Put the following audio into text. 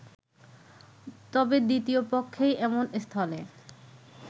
তবে দ্বিতীয় পক্ষই এমন স্থলে